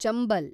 Chambal